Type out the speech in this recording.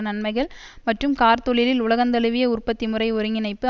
நன்மைகள் மற்றும் கார் தொழிலில் உலகந்தழுவிய உற்பத்திமுறை ஒருங்கிணைப்பு